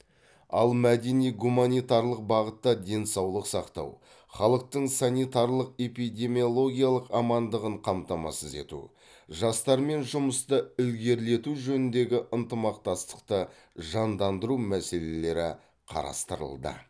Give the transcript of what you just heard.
ал мәдени гуманитарлық бағытта денсаулық сақтау халықтың санитарлық эпидемиологиялық амандығын қамтамасыз ету жастармен жұмысты ілгерілету жөніндегі ынтымақтастықты жандандыру мәселелері қарастырылды